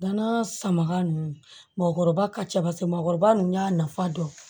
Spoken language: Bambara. Danaya samaka ninnu mɔbali ka cɛ mɔgɔkɔrɔba nun y'a nafa dɔn